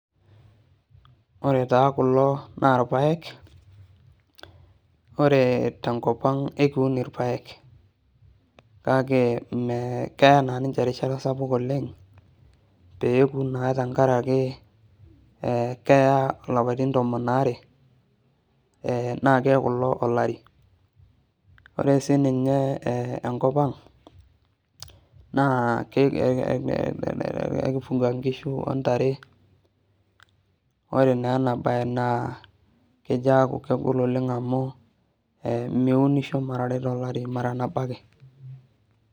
Ore taa kulo naa irpaek , ore tenkop ang' naa ekiun irpaek kake mmee keya naa niche erishata sapuk oleng' pepuo naa tenkaraki keya ilapaitin tomon are ee naa keaku ilo olari ore sininye enkop ang' naa ekifuga nkishu , ontare , ore naa enabae naa kejaaku kegol oleng' amu miunisho maraare tolari maranabo ake.